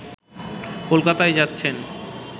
কলকাতা যাচ্ছেন